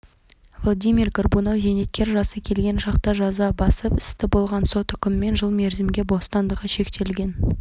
владимир горбунов зейнеткер жасы келген шақта жаза басып істі болған сот үкімімен жыл мерзімге бостандығы шектелген